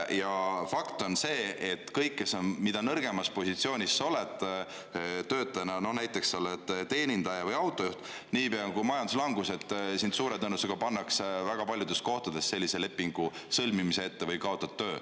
Ja fakt on see, et mida nõrgemas positsioonis sa töötajana oled, näiteks oled teenindaja või autojuht, niipea kui on majanduslangus, pannakse sind väga paljudes kohtades suure tõenäosusega sellise lepingu sõlmimise ette või kaotad töö.